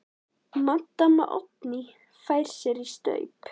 Maddama Oddný fær sér í staup.